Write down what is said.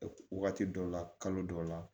Wagati dɔw la kalo dɔw la